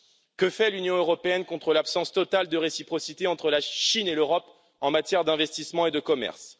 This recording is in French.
Que fait l'Union européenne contre l'absence totale de réciprocité entre la Chine et l'Europe en matière d'investissement et de commerce?